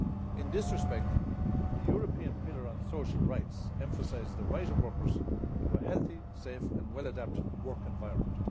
In this respect, the European Pillar of Social Rights emphasised the right of workers to a healthy, safe and well adapted work environment.